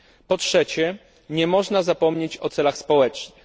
Po trzecie, nie można zapomnieć o celach społecznych.